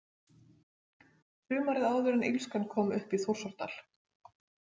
Sumarið áður en illskan kom upp í Þórsárdal.